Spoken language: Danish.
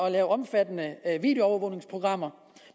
at lave omfattende videoovervågningsprogrammer